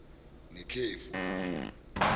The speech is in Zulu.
nekhefu